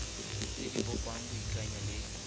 tse di bopang boikanyo le